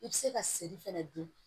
I bɛ se ka seri fɛnɛ dun